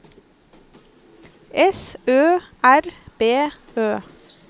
S Ø R B Ø